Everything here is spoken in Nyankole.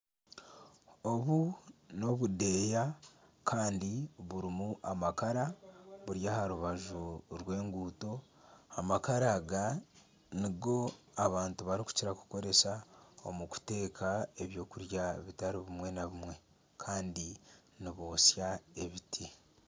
Obu n'obudeeya burimu amakara buri aha rubaju rw'enguuto, amakara aga nigo abantu barikukira kukoresa omu kuteeka eby'okurya bitaribimwe na bimwe kandi nibotsya ebiti